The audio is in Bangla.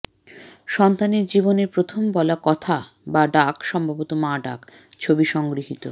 সন্তানের জীবনের প্রথম বলা কথা বা ডাক সম্ভবত মা ডাক ছবি সংগৃহীত